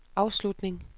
afslutning